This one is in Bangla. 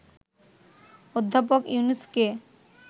অধ্যাপক ইউনুসকে